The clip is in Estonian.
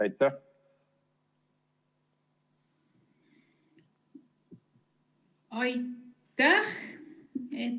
Aitäh!